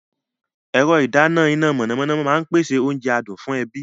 Ẹ̀rọ ìdáná iná mọ̀nàmọ́ná máa ń pèsè oúnjẹ adùn fún ẹbí.